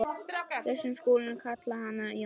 Við skulum kalla hann Jón.